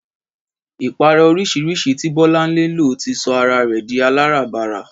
Ìpara oríṣiríṣi tí Bọ́láńlé lò ti sọ ara rẹ̀ di aláràbarà